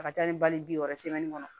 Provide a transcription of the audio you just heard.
A ka ca ni bali bi wɔɔrɔ kɔnɔ